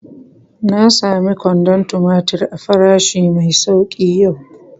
Na samu kwandon tumatir a farashi mai sauki yau.